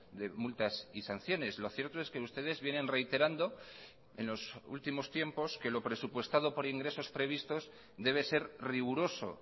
de multas y sanciones lo cierto es que ustedes vienen reiterando en los últimos tiempos que lo presupuestado por ingresos previstos debe ser riguroso